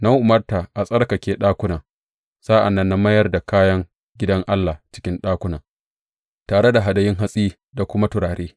Na umarta a tsarkake ɗakunan, sa’an nan na mayar da kayan gidan Allah a cikin ɗakunan, tare da hadayun hatsi da kuma turare.